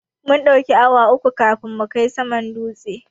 Mun ɗauki awa uku kafin mu kai saman dutsen.